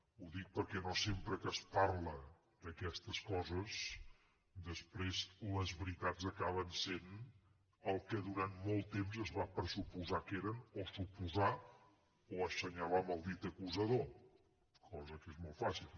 ho dic perquè no sempre que es parla d’aquestes coses després les veritats acaben sent el que durant molt temps es va pressuposar que eren o suposar o assenyalar amb el dit acusador cosa que és molt fàcil